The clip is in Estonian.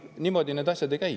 Niimoodi need asjad ei käi.